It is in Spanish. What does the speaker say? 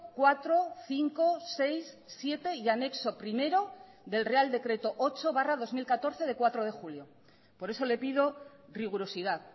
cuatro cinco seis siete y anexo primero del real decreto ocho barra dos mil catorce de cuatro de julio por eso le pido rigurosidad